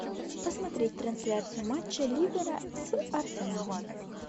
посмотреть трансляцию матча ливера с арсеналом